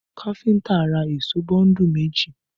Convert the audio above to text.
Kafinta ra èṣó bọ́ńdù méjì